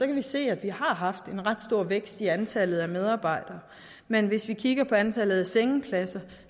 vi se at vi har haft en ret stor vækst i antallet af medarbejdere men hvis vi kigger på antallet af sengepladser